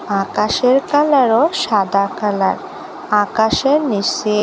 আকাশের কালারও সাদা কালার আকাশের নিসে --